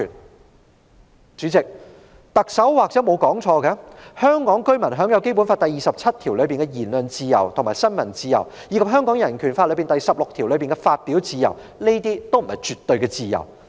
代理主席，特首或許沒有說錯，香港居民享有《基本法》第二十七條下的言論自由及新聞自由，以及《香港人權法案條例》第16條下的發表自由，這些均不是絕對的自由。